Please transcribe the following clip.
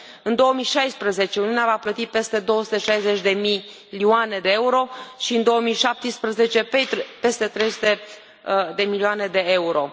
În 2016, Uniunea va plăti peste 260 de milioane de euro și în 2017, peste 300 de milioane de euro.